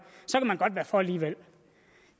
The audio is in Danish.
for alligevel